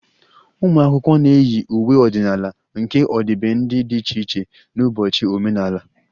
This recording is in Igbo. Ụmụ akwụkwọ na-eyi uwe ọdịnala nke ọdịbendị dị iche iche n'ụbọchị omenala